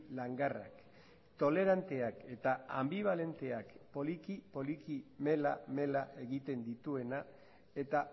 langarrak toleranteak eta anbibalenteak poliki poliki mela mela egiten dituena eta